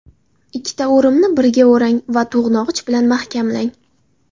Ikkita o‘rimni biriga o‘rang va to‘g‘nog‘ich bilan mahkamlang.